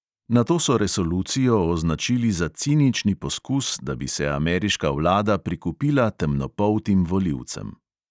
Nato so resolucijo označili za cinični poskus, da bi se ameriška vlada prikupila temnopoltim volivcem.